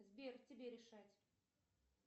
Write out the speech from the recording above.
сбер тебе решать